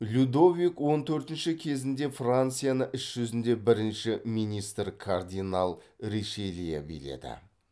людовик он төртінші кезінде францияны іс жүзінде бірінші министр кардинал ришелье биледі